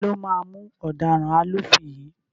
Taló máa mú ọ̀daràn alúfin yìí?